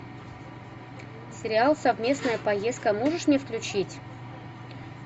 сериал совместная поездка можешь мне включить